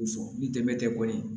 Fɔ ni dɛmɛ tɛ kɔni